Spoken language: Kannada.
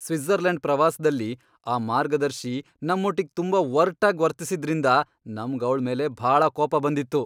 ಸ್ವಿಟ್ಜರ್ಲೆಂಡ್ ಪ್ರವಾಸ್ದಲ್ಲಿ ಆ ಮಾರ್ಗದರ್ಶಿ ನಮ್ಮೊಟ್ಟಿಗ್ ತುಂಬಾ ಒರ್ಟಾಗ್ ವರ್ತಿಸಿದ್ರಿಂದ ನಮ್ಗ್ ಅವ್ಳ್ ಮೇಲೆ ಭಾಳ ಕೋಪ ಬಂದಿತ್ತು.